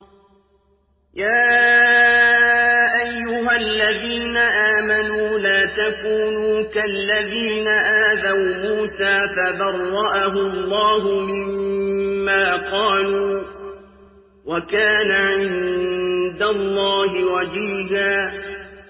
يَا أَيُّهَا الَّذِينَ آمَنُوا لَا تَكُونُوا كَالَّذِينَ آذَوْا مُوسَىٰ فَبَرَّأَهُ اللَّهُ مِمَّا قَالُوا ۚ وَكَانَ عِندَ اللَّهِ وَجِيهًا